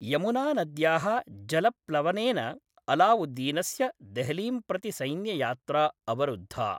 यमुनानद्याः जलप्लवनेन अलावुद्दीनस्य देहलीं प्रति सैन्ययात्रा अवरुद्धा।